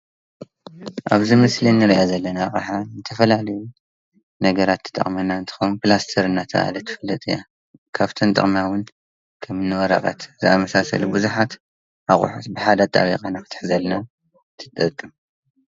ኣብዚ ምስሊ ንሪኣ ዘለና ኣቅሓ ንዝተፈላለዪ ነገራት ትጠቅመና እንትኾን ፕላስተር እናተብሃለት ትፍለጥ እያ። ካብተን ዝጠቅማ ዉን ከም ንወረቀት ዝኣመሰሉ ብዙሓት ኣቁሑ ብሓደ ኣጣቢቓ ንኽትሕዘልና ትጠቅም ።